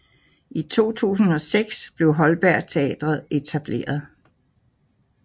I 2006 blev Holberg Teatret etableret